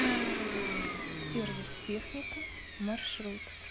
сервис техника маршрут